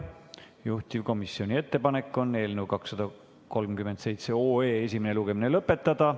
Juhtivkomisjoni ettepanek on eelnõu 237 esimene lugemine lõpetada.